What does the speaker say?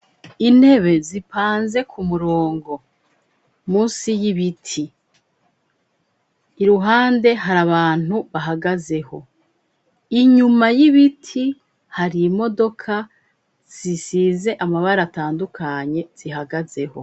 Intebe zipanze ku murongo musi y'ibiti, iruhande hari abantu bahagazeho, inyuma y'ibiti hari imodoka zisize amabara atandukanye zihagazeho.